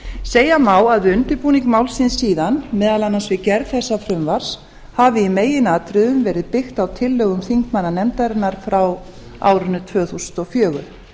segja má að við undirbúning málsins síðan meðal annars við gerð þessa frumvarps hafi í meginatriðum verið byggt á tillögum þingmanna nefndarinnar frá árinu tvö þúsund og fjögur